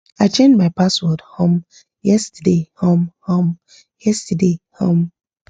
i change my password um yesterday um um yesterday um